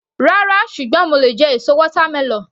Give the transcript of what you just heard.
Rárá, ṣùgbọ́n mo lè jẹ èso watermelon.